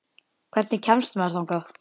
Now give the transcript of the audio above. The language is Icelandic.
Hvernig kemst maður þangað?